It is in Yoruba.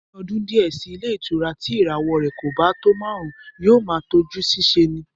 Ní ọdún díẹ̀ sí i ilé ìtura tí ìràwọ̀ rẹ̀ kò bá tọ́ márùn-ún, yóò máa tọ́jú ṣiṣẹ́ ni